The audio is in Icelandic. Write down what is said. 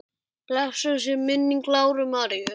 Blessuð sé minning Láru Maríu.